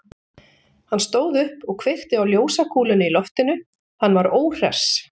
Hann stóð upp og kveikti á ljósakúlunni í loftinu, hann var óhress.